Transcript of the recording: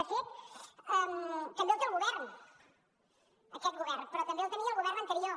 de fet també el té el govern aquest govern però també el tenia el govern anterior